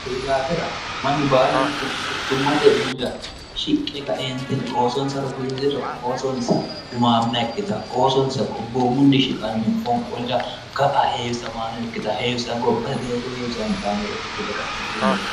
kyi daafira mannu baallunku quchummate mulira shiqqe kaeentinni oosonsa rosiisiro oosonsa gumaamma ikkita oosonsa gobboo munni shiqanno fonqoolira ga'a heewisamaanoikkita heewisa gobbasi deerre heewisantannore ikkite kaeenti leelno